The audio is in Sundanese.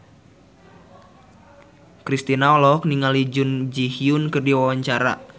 Kristina olohok ningali Jun Ji Hyun keur diwawancara